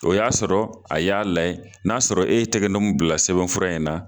O y'a sɔrɔ a y'a layɛ n'a sɔrɔ e ye tɛgɛ nɔ min bila sɛbɛn fura in na.